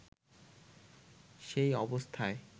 সেই অবস্থায়